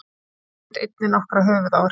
Hann hlaut einnig nokkra höfuðáverka